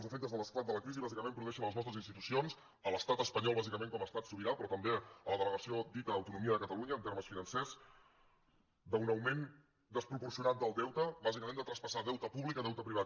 els efectes de l’esclat de la crisi bàsicament produeixen a les nostres institucions a l’estat espanyol bàsicament com a estat sobirà però també a la delegació dita autonomia de catalunya en termes financers un augment desproporcionat del deute bàsicament de traspassar deute públic a deute privat